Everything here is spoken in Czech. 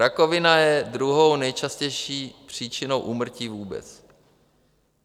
Rakovina je druhou nejčastější příčinou úmrtí vůbec.